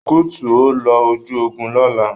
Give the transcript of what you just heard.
Recruit, o ló oju ògún lola!